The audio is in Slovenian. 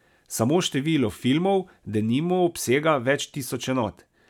Samo število filmov, denimo, obsega več tisoč enot.